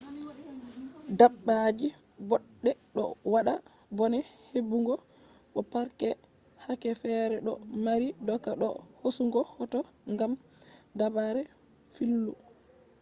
dabbaji boɗɗe ɗo waɗa bone heɓugo bo parks yake fere ɗo mari doka do hosugo hoto ngam dabare fillu